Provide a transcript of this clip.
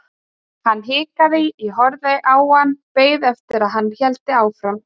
Hann hikaði, ég horfði á hann, beið eftir að hann héldi áfram.